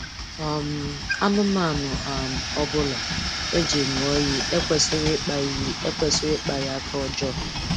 um Anụmanụ um ọbụla e ji ṅụọ iyi ekwesịghị ịkpa iyi ekwesịghị ịkpa ya aka ọjọọ